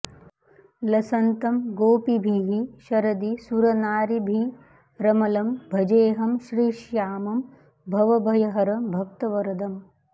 लसन्तं गोपीभिः शरदि सुरनारीभिरमलं भजेऽहं श्रीश्यामं भवभयहरं भक्तवरदम्